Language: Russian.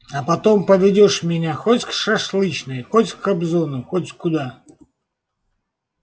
а потом поведёшь меня хоть к шашлычной хоть к кобзону хоть куда